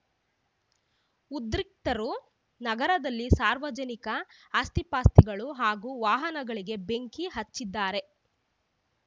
ಉದ್ರಿಕ್ತರು ನಗರದಲ್ಲಿನ ಸಾರ್ವಜನಿಕ ಆಸ್ತಿಪಾಸ್ತಿಗಳು ಹಾಗೂ ವಾಹನಗಳಿಗೆ ಬೆಂಕಿ ಹಚ್ಚಿದ್ದಾರೆ